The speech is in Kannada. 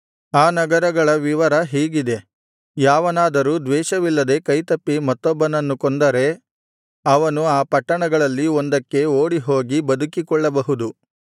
ಆ ನಗರಗಳ ವಿವರ ಹೀಗಿದೆ ಯಾವನಾದರೂ ದ್ವೇಷವಿಲ್ಲದೆ ಕೈತಪ್ಪಿ ಮತ್ತೊಬ್ಬನನ್ನು ಕೊಂದರೆ ಅವನು ಆ ಪಟ್ಟಣಗಳಲ್ಲಿ ಒಂದಕ್ಕೆ ಓಡಿಹೋಗಿ ಬದುಕಿಕೊಳ್ಳಬಹುದು